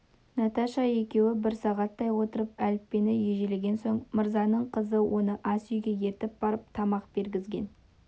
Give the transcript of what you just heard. наташа екеуі бір сағаттай отырып әліппені ежелеген соң мырзаның қызы оны ас үйге ертіп барып тамақ бергізген